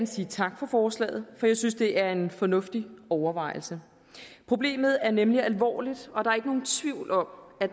sige tak for forslaget for jeg synes det er en fornuftig overvejelse problemet er nemlig alvorligt og der er ikke nogen tvivl om at